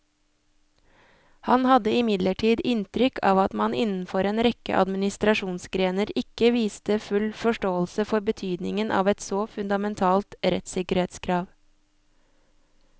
Han hadde imidlertid inntrykk av at man innenfor en rekke administrasjonsgrener ikke viste full forståelse for betydningen av et så fundamentalt rettssikkerhetskrav.